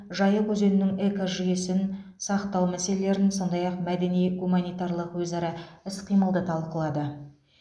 жайық өзенінің экожүйесін сақтау мәселелерін сондай ақ мәдени гуманитарлық өзара іс қимылды талқылады